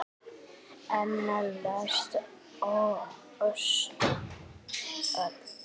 Eina lest öls.